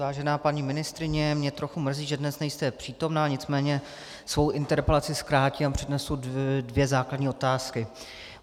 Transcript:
Vážená paní ministryně, mě trochu mrzí, že dnes nejste přítomna, nicméně svou interpelaci zkrátím a přednesu dvě základní otázky.